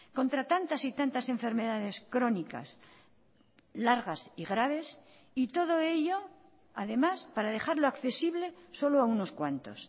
contra tantas y tantas enfermedades crónicas largas y graves y todo ello además para dejarlo accesible solo a unos cuantos